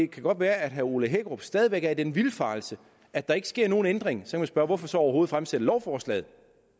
kan godt være at herre ole hækkerup stadig væk er i den vildfarelse at der ikke sker nogen ændring og så kan man spørge hvorfor så overhovedet fremsætte lovforslaget